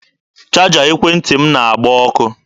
Chaja ekwentị m na-agba ọkụ.